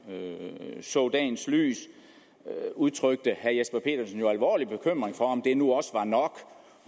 så dagens lys udtrykte herre jesper petersen jo alvorlig bekymring for om det nu også var nok